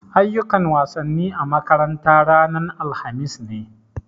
Ayyukan wasanni a makaranta ranan alhamis ne.